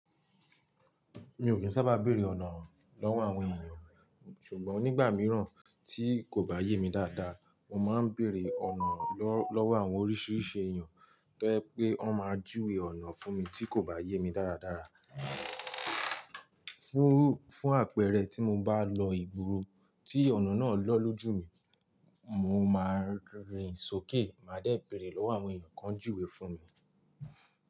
Mi ò kí ń sábà béèrè ọ̀nà lọ́wọ́ àwọn ènìyàn, ṣùgbọ́n nígbà míràn tí kò bá yé mi dáadáa, mo máa ń béèrè ọ̀nà lọ́wọ́ àwọn oríṣìíríṣìí èèyàn to je pé wọ́n máa júwe ọ̀nà fún mi tí kò bá yé mi dáradára. Fún, fún àpẹẹrẹ, tí mo bá lọ ìgboro tí ọ̀nà náà lọ lójú mi, mo máa rìnsókè, màá dẹ́ béèrè lọ́wọ́ àwọn èèyàn kan júwe fún mi.